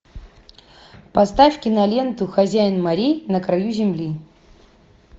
поставь киноленту хозяин морей на краю земли